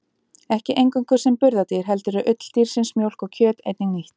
Ekki eingöngu sem burðardýr heldur er ull dýrsins, mjólk og kjöt einnig nýtt.